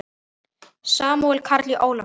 Samúel Karl Ólason.